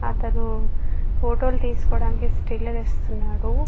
అతను ఫోటో తీసుకోటానికి స్టీల్ లిస్తున్నాడు.